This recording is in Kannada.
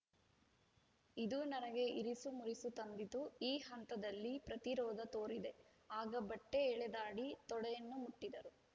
ಇದು ನನಗೆ ಇರಿಸುಮುರುಸು ತಂದಿತು ಈ ಹಂತದಲ್ಲಿ ಪ್ರತಿರೋಧ ತೋರಿದೆ ಆಗ ಬಟ್ಟೆಎಳೆದಾಡಿ ತೊಡೆಯನ್ನೂ ಮುಟ್ಟಿದರು